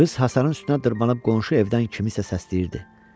Qız hasarın üstünə dırmaşıb qonşu evdən kimisə səsləyirdi.